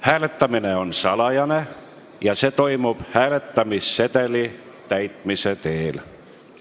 Hääletamine on salajane ja see toimub hääletamissedeli täitmise teel.